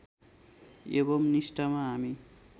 एवं निष्ठामा हामी